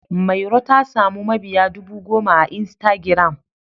Mairo ta samu mabiya dubu goma a Instagiram.